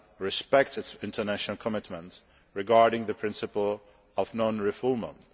respects its international commitments regarding the principle of non refoulement.